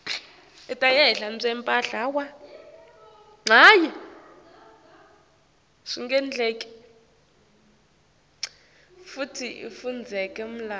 futsi ifundzeka malula